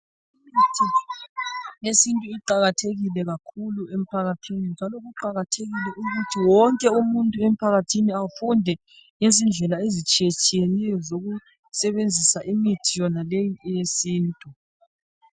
Imithi yesintu iqakathekile kakhulu emphakathini njalo kuqakathekile kakhulu ukuthi umuntu wonke emphakathini afunde ngezindlela ezitshiyetshiyeneyo zokusebenzisa imithi yonaleyi eyesintu.